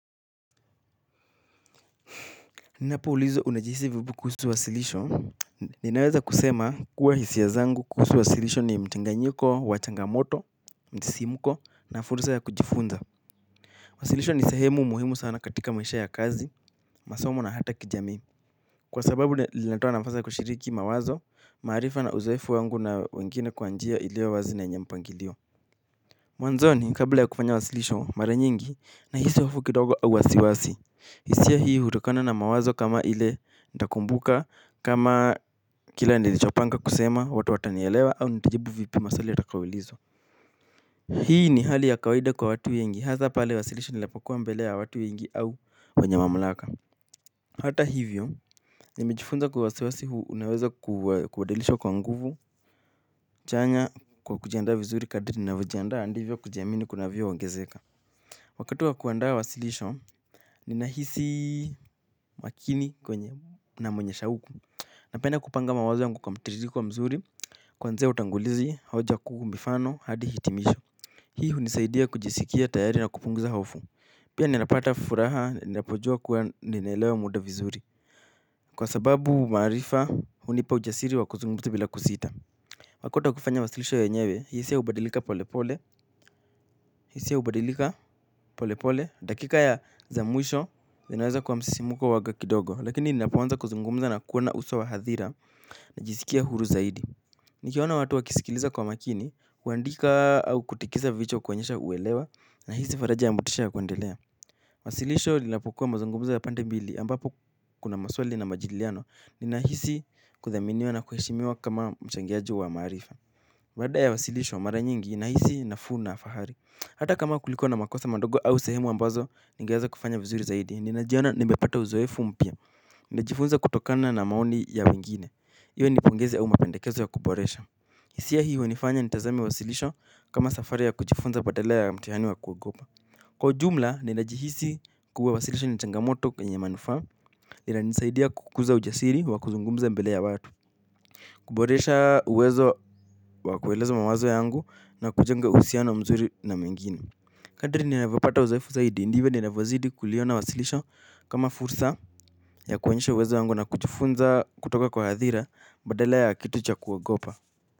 Ninapoulizwa unajihisi vipi kuhusu wasilisho, ninaweza kusema kuwa hisia zangu kuhusu wasilisho ni mchanganyiko, wa changamoto, msisimko na fursa ya kujifunza. Wasilisho ni sehemu muhimu sana katika maisha ya kazi, masomo na hata kijamii. Kwa sababu linatoa na nafasi kushiriki mawazo, maarifa na uzoefu wangu na wengine kwa njia iliowazi na yenye mpangilio. Mwanzoni kabla ya kufanya wasilisho mara nyingi nahisi hofu kidogo au wasiwasi. Hisia hii hutokana na mawazo kama ile nitakumbuka kama kila nilichopanga kusema watu watanielewa au nitajaribu vipi maswali yatakayoulizwa hii ni hali ya kawaida kwa watu wengi hasa pale wasilishi linapokua mbele ya watu wengi au wenye mamlaka. Hata hivyo nimejifunza kuwa wasiwasi huu unaweza kubadilishwa kwa nguvu chanya kwa kujiandaa vizuri kadri ninavyojiandaa ndivyo kujamini kunavyoongezeka wakati wa kuandaa wasilisho ninahisi makini kwenye na mwenye shauku napenda kupanga mawazo wangu kwa mtiririko wa mzuri kuanzia utangulizi hoja kuu mifano hadi hitimisho hii hunisaidia kujisikia tayari na kupunguza hofu pia ninapata furaha ninapojua kuwa ninaelewa muda vizuri kwa sababu maarifa hunipa ujasiri wa kuzungumza bila kusita wakati wa kufanya wasilisho yenyewe hisia hubalika polepole, hisia hubadilika pole pole, dakika za mwisho, vinaweza kuwa msisimko huanga kidogo, lakini ninapoanza kuzungumza na kuona uso wa hadhira najisikia huru zaidi. Nikiwaona watu wakisikiliza kwa makini, kuandika au kutikisa vichwa kuonyesha uelewa, nahisi faraja ya motisha ya kuendelea. Wasilisho linapokuwa mazungumzo ya pande mbili ambapo kuna maswali na majadiliano, ninahisi kuthaminiwa na kuheshimiwa kama mchangiaji wa maarifa. Baada ya wasilisho mara nyingi nahisi nafuu na fahari hata kama kulikua na makosa madogo au sehemu ambazo ningeweza kufanya vizuri zaidi. Ninajiona nimepata uzoefu mpya najifunza kutokana na maoni ya wengine. Iwe ni pongezi au mapendekezo ya kuboresha hisia hii wanifanya nitazame wasilisho. Kama safari ya kujifunza badala ya mtihani wa kuogopa. Kwa ujumla ninajihisi kuwa wasilisho ni changamoto penye manufaa inanisaidia kukuza ujasiri wa kuzungumza mbele ya watu. Kuboresha uwezo wa kueleza mawazo yangu na kujenga uhusiano mzuri na mengine. Kadri ninavyopata uzoefu zaidi ndivyo ninavyozidi kuliona wasilisho kama fursa ya kuonyesha uwezo wangu na kujifunza kutoka kwa hadhira badala ya kitu cha kuogopa.